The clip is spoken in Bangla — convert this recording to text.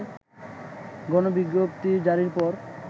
গণবিজ্ঞপ্তি জারির পর